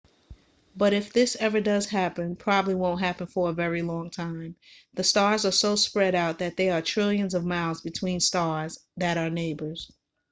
but if this ever does happen probably won't happen for a very long time the stars are so spread out that there are trillions of miles between stars that are neighbors